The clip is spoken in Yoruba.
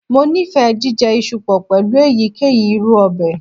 Mo nifẹ jijẹ iṣu pọ pẹlu eyikeyi iru ọbẹ.